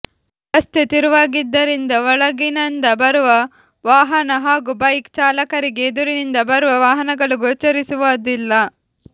ರಸ್ತೆ ತಿರುವಾಗಿದ್ದರಿಂದ ಒಳಗಿನಂದ ಬರುವ ವಾಹನ ಹಾಗೂ ಬೈಕ್ ಚಾಲಕರಿಗೆ ಎದುರಿನಿಂದ ಬರುವ ವಾಹನಗಳು ಗೊಚರಿಸುವದಿಲ್ಲಾ